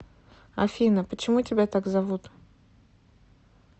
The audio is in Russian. афина почему тебя так зовут